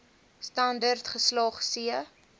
standerd geslaag c